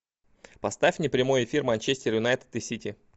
поставь мне прямой эфир манчестер юнайтед и сити